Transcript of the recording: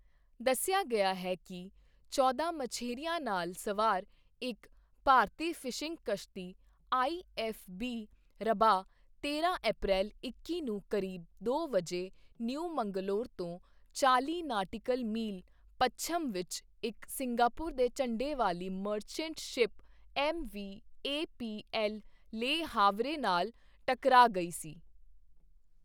ਦੱਸਿਆ ਗਿਆ ਹੈ ਕਿ ਚੌਦਾਂ ਮਛੇਰਿਆਂ ਨਾਲ ਸਵਾਰ ਇੱਕ ਭਾਰਤੀ ਫਿਸ਼ਿੰਗ ਕਿਸ਼ਤੀ ਆਈਐੱਫਬੀ ਰਬਾਹ ਤੇਰਾਂ ਅਪ੍ਰੈਲ ਇੱਕੀ ਨੂੰ ਕਰੀਬ ਦੋ ਵਜੇ ਨਿਊ ਮੰਗਲੌਰ ਤੋਂ ਚਾਲ੍ਹੀ ਨਾਟਿਕਲ ਮੀਲ ਪੱਛਮ ਵਿੱਚ ਇੱਕ ਸਿੰਗਾਪੁਰ ਦੇ ਝੰਡੇ ਵਾਲੇ merchant ship MV APL Le Havre ਨਾਲ ਟਕਰਾਅ ਗਈ ਸੀ।